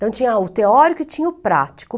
Então tinha o teórico e tinha o prático.